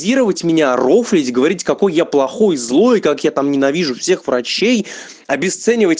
дировать меня рофлить говорить какой я плохой злой как я там ненавижу всех врачей обесценивать